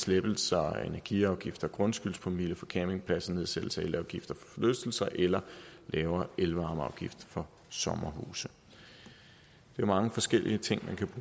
lettelser af energiafgift og grundskyldspromille på campingpladser nedsættelse af elafgifter på forlystelser eller lavere elvarmeafgift for sommerhuse det er mange forskellige ting